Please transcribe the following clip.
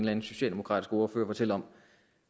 anden socialdemokratisk ordfører fortælle om